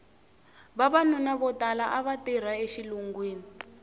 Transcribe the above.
vavanuna vo tala ava tirha exilungwini